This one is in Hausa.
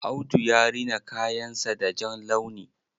Audu ya rina kayan sa da jan launi.